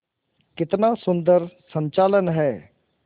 कितना सुंदर संचालन है